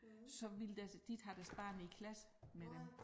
Så ville deres de ikke have deres barn i klasse med dem